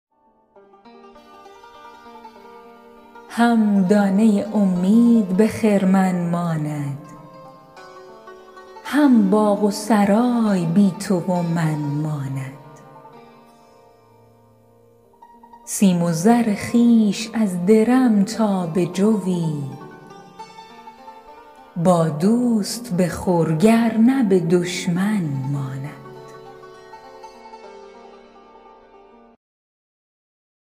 هم دانه امید به خرمن ماند هم باغ و سرای بی تو و من ماند سیم و زر خویش از درمی تا به جوی با دوست بخور گرنه به دشمن ماند